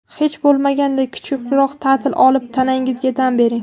Hech bo‘lmaganda, kichikroq ta’til olib, tanangizga dam bering.